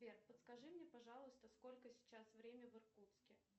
сбер подскажи мне пожалуйста сколько сейчас время в иркутске